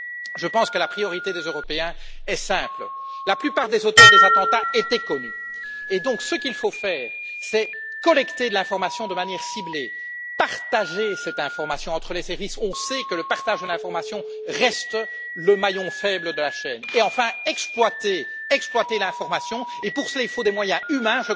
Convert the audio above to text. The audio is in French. Je pense que la priorité des Européens est simple. La plupart des auteurs des attentats étaient connus, il faut donc collecter l'information de manière ciblée, partager cette information entre les services on sait que le partage de l'information reste le maillon faible de la chaîne et enfin exploiter l'information, et pour cela il faut des moyens humains.